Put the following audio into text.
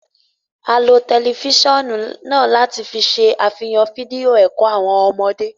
A lo tẹlifisiọnu náà láti ṣe afihan fídíò ẹkọ fún awọn ọmọde